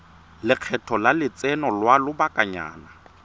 lekgetho la lotseno lwa lobakanyana